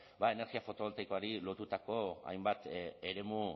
ba energia fotovoltaikoari lotutako hainbat eremu